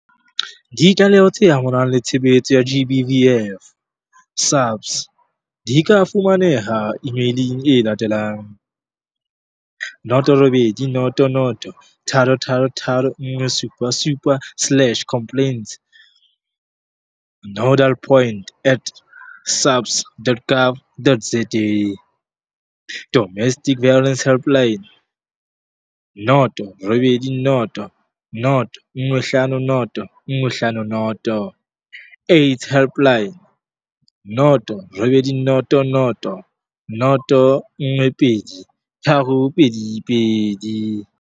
Ditlaleho tse amanang le tshebetso tsa GBVF, SAPS di ka fumaneha emailing e latelang,- 0800 333 177 slash complaints nodal point at SAPS dot gov dot za Domestic Violence Helpline- 0800 150 150. AIDS Helpline- 0800 012 322.